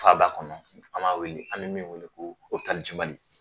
Faba kɔnɔ an m'a wele, an mɛ min wele ko Mali.